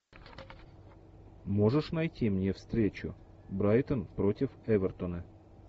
можешь найти мне встречу брайтон против эвертона